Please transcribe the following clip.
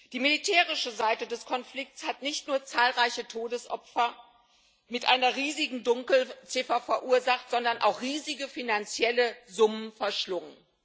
Die militärische Seite des Konflikts hat nicht nur zahlreiche Todesopfer mit einer riesigen Dunkelziffer verursacht, sondern auch riesige finanzielle Summen verschlungen.